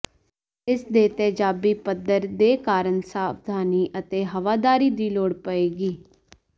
ਇਸ ਦੇ ਤੇਜ਼ਾਬੀ ਪੱਧਰ ਦੇ ਕਾਰਨ ਸਾਵਧਾਨੀ ਅਤੇ ਹਵਾਦਾਰੀ ਦੀ ਲੋੜ ਪਏਗੀ